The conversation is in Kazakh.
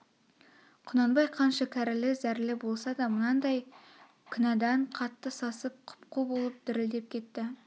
құнанбай қанша кәрілі зәрлі болса да мынадай кінәдан қатты сасып құп-қу болып дірілдеп кетті